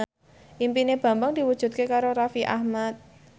impine Bambang diwujudke karo Raffi Ahmad